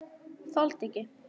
Þoldi ekki.